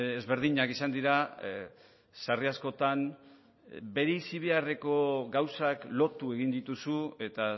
ezberdinak izan dira sarri askotan bereizi beharreko gauzak lotu egin dituzu eta